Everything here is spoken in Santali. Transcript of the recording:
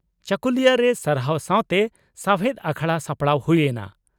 ᱪᱟᱹᱠᱩᱞᱤᱭᱟᱹᱨᱮ ᱥᱟᱨᱦᱟᱣ ᱥᱟᱣᱛᱮ ᱥᱟᱣᱦᱮᱫ ᱟᱠᱷᱲᱟ ᱥᱟᱯᱲᱟᱣ ᱦᱩᱭ ᱮᱱᱟ